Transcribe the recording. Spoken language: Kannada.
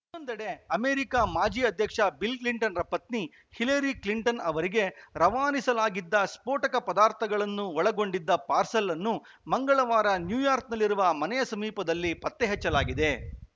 ಇನ್ನೊಂದೆಡೆ ಅಮೆರಿಕ ಮಾಜಿ ಅಧ್ಯಕ್ಷ ಬಿಲ್‌ ಕ್ಲಿಂಟನ್‌ರ ಪತ್ನಿ ಹಿಲರಿ ಕ್ಲಿಂಟನ್‌ ಅವರಿಗೆ ರವಾನಿಸಲಾಗಿದ್ದ ಸ್ಫೋಟಕ ಪದಾರ್ಥಗಳನ್ನು ಒಳಗೊಂಡಿದ್ದ ಪಾರ್ಸೆಲ್‌ ಅನ್ನು ಮಂಗಳವಾರ ನ್ಯೂಯಾರ್ಕ್ನಲ್ಲಿರುವ ಮನೆಯ ಸಮೀಪದಲ್ಲಿ ಪತ್ತೆ ಹಚ್ಚಲಾಗಿದೆ